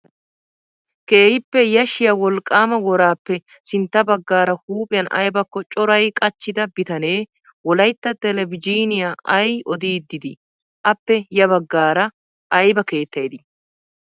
Keehippe yashshiyaa wolqqaama worappe sintta baggaara huuphphiyan ayibakko corayi qachchida bitane wolayitta telbejiiniyan ayi odiiddi dii? Appe ya baggaara ayiba keettayi dii?